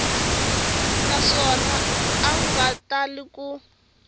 naswona a nga tali ku